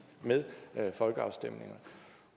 med folkeafstemninger